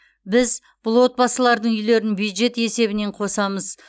біз бұл отбасылардың үйлерін бюджет есебінен қосамыз